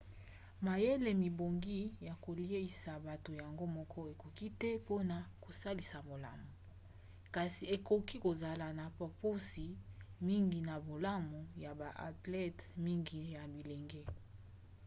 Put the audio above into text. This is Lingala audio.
mayele mebongi ya koleisa bato yango moko ekoki te mpona kosalisa malamu kasi ekoki kozala na bopusi mingi na bolamu ya ba athlete mingi ya bilenge